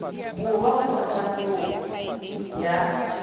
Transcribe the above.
borwa kgotsa kwa ntlong ya